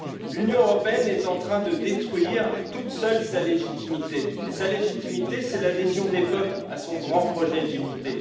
L'Union européenne est en train de détruire toute seule sa légitimité, et sa légitimité, c'est l'adhésion des peuples à son grand projet d'unité.